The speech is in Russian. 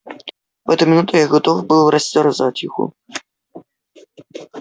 в эту минуту я готов был растерзать его